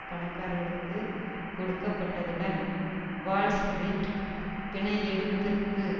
பணக்காரர்களுக்கு கொடுக்கப்பட்டதுடன் வால்ஸ்ரீட் பிணையெடுப்பிற்கு